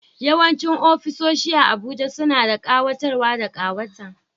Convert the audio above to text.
Yawancin ofisoshi a Abuja suna da kayatarwa da kawata